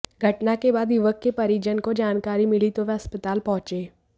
घटना के बाद युवक के परिजन को जानकारी मिली तो वे अस्पताल पहुंचे